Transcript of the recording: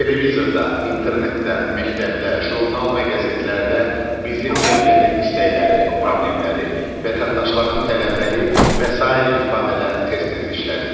Televizorda, internetdə, məktəbdə, jurnal və qəzetlərdə bizim cəmiyyətin istəkləri, problemləri, vətəndaşların tələbləri və sair ifadələr tez-tez işlədilir.